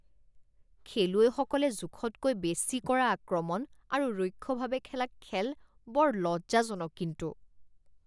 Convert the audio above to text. খেলুৱৈসকলে জোখতকৈ বেছি কৰা আক্ৰমণ আৰু ৰুক্ষভাৱে খেলা খেল বৰ লজ্জাজনক কিন্তু